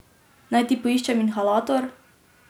Naj ti poiščem inhalator?